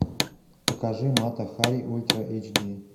покажи мата хари ультра эйч ди